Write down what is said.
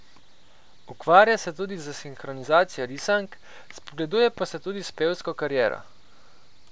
Ukvarja se tudi s sinhronizacijo risank, spogleduje pa se tudi s pevsko kariero.